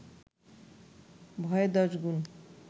ভয়ে দশগুণ